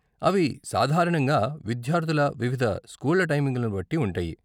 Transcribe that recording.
అవి సాధారణంగా విద్యార్ధుల వివిధ స్కూళ్ళ టైమింగ్లను బట్టి ఉంటాయి.